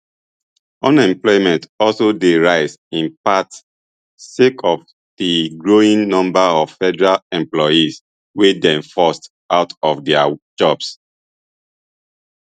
unemployment also dey rise in part sake of di growing number of federal employees wey dey forced out of dia jobs